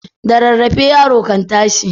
Da rarrafe yaro kan tashi.